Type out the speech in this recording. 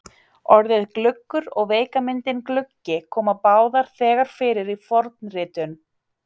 Orðið gluggur og veika myndin gluggi koma báðar þegar fyrir í fornritum.